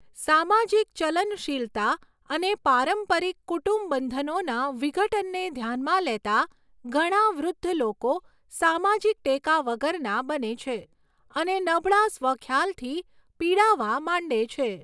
સામાજિક ચલનશીલતા અને પારંપરિક કુટુંબ બંધનોના વિઘટનને ધ્યાનમાં લેતા ઘણા વૃદ્ધ લોકો સામાજિક ટેકા વગરના બને છે અને નબળા સ્વ ખ્યાલથી પીડાવા માંડે છે.